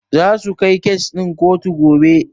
Zasu kai kes ɗin kotu gobe.